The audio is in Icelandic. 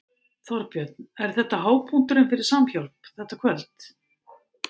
Þorbjörn: Er þetta hápunkturinn fyrir Samhjálp, þetta kvöld?